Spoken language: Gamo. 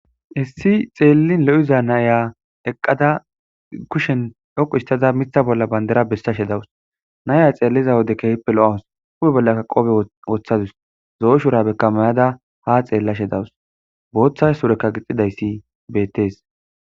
issi xeellin lo7iza naya eqqada kushen yoqu istada mitha bolla bandera bessashe dawus naya xeelliza wodekehippe lo7awus ube bollaka qobe woththadus zoo shura bekamayada ha xeellashe dawus booththa surekka gixidayssi bettees